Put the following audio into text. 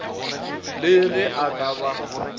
le ge e ka ba